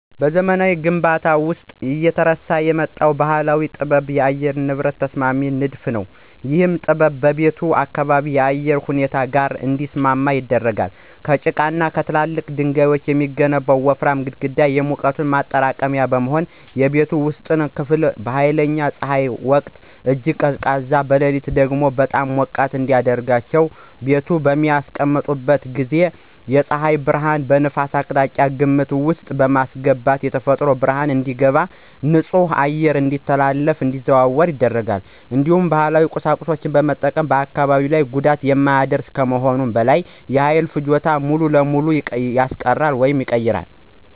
በዘመናዊ ግንባታዎች ውስጥ እየተረሳ የመጣው ባህላዊ ጥበብ የአየር ንብረት ተስማሚ ንድፍ ነው። ይህ ጥበብ ቤቱን ከአካባቢው የአየር ሁኔታ ጋር እንዲስማማ ያደርጋል። ከጭቃና ከትላልቅ ድንጋዮች የሚገነቡት ወፍራም ግድግዳዎች የሙቀት ማጠራቀሚያነት በመሆን፣ የቤቱን ውስጣዊ ክፍል በኃይለኛ ፀሐይ ወቅት እጅግ ቀዝቃዛ፣ በሌሊት ደግሞ ሞቃታማ ያደርገዋል። ቤቱን በሚያስቀምጡበት ጊዜ የፀሐይ ብርሃንንና ነፋስን አቅጣጫ ግምት ውስጥ በማስገባት የተፈጥሮ ብርሃን እንዲገባ እና ንጹህ አየር ያለ ኤሌክትሪክ እንዲዘዋወር ያደርጋል። እንዲሁም ባህላዊ ቁሳቁሶችን መጠቀም በአካባቢ ላይ ጉዳት የማያደርግ ከመሆኑም በላይ የኃይል ፍጆታን ሙሉ በሙሉ ያስቀራል።